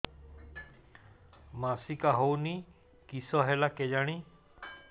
ମାସିକା ହଉନି କିଶ ହେଲା କେଜାଣି